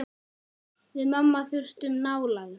Við mamma þurftum nálægð.